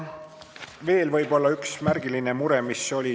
Veel on võib-olla üks märgiline mure.